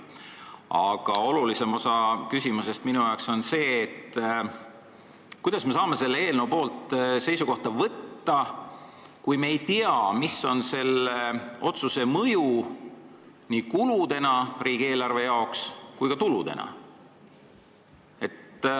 Aga olulisem osa küsimusest on see, kuidas me saame selle eelnõu asjus seisukohta võtta, kui me ei tea, mis on selle otsuse mõju nii riigieelarve kulude kui ka tuludena.